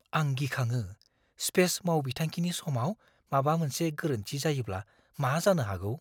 आं गिखाङो - स्पेस मावबिथांखिनि समाव माबा मोनसे गोरोन्थि जायोब्ला मा जानो हागौ!